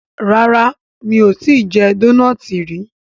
ràrá mi'o tí jé Dónáátì rí.